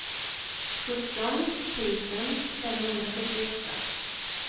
sjutton tusen femhundrasjuttioåtta